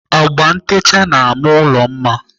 Agba ntecha na-ama ụlọ mma.